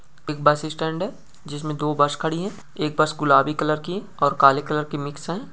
एक bus stand है जिसमें दो बस खड़ी है एक बस गुलाबी कलर की और काले कलर की मिक्स है।